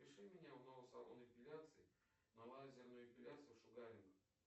запиши меня в новый салон эпиляции на лазерную эпиляцию шугаринг